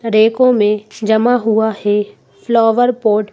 रेखों में जमा हुआ है फ्लोवर पोर्ट --